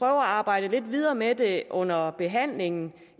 arbejde lidt videre med det under behandlingen